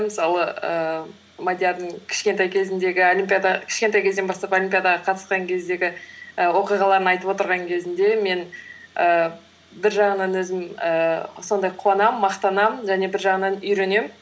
мысалы ііі мадиардың кішкентей кезден бастап олимпиадаға қатысқан кездегі і оқиғаларын айтып отырған кезінде мен ііі бір жағынан өзім ііі сондай қуанамын мақтанамын және бір жағынан үйренемін